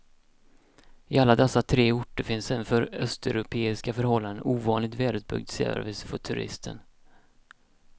I alla dessa tre orter finns en för östeuropeiska förhållanden ovanligt välutbyggd service för turisten.